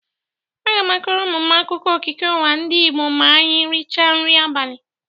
Aga m akọrọ ụnụ akụkụọ okike ụwa ndị Igbo ma anyị rịcha nrị abalị.